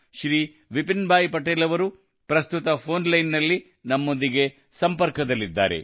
ಶ್ರೀ ವಿಪಿನ್ಭಾಯ್ ಪಟೇಲ್ ಅವರು ಪ್ರಸ್ತುತ ಫೋನ್ ಲೈನ್ನಲ್ಲಿ ನಮ್ಮೊಂದಿಗೆ ಸಂಪರ್ಕದಲ್ಲಿದ್ದಾರೆ